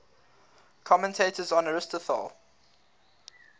commentators on aristotle